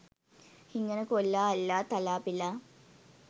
හිඟන කොල්ලා අල්ලා තලා පෙළා